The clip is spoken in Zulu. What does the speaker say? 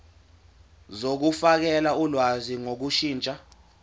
zokufakela ulwazi ngokushintsha